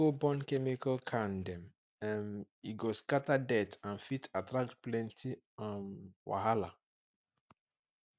no go burn chemical can dem um e go scatter dirt and fit attract plenty um wahala